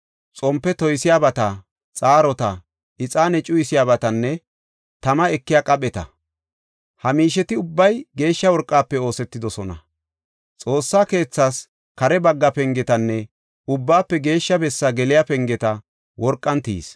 xompe toysiyabata, xaarota, ixaane cuyisiyabatanne tama ekiya qapheta. Ha miisheti ubbay geeshsha worqafe oosetidosona. Xoossaa keethas kare bagga pengetanne Ubbaafe Geeshsha Bessaa geliya pengeta worqan tiyis.